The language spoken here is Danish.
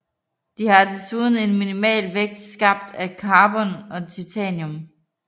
De har desuden en minimal vægt skabt af carbon og titanium